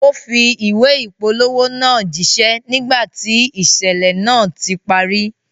Ó fi ìwé ìpolówó náà jíṣẹ́ nígbà tí ìṣẹ̀lẹ̀ náà ti parí